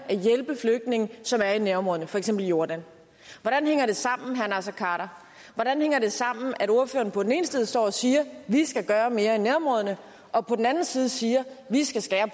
at hjælpe flygtninge som er i nærområderne for eksempel jordan hvordan hænger det sammen herre naser khader hvordan hænger det sammen at ordføreren på den ene side står og siger vi skal gøre mere i nærområderne og på den anden side siger vi skal skære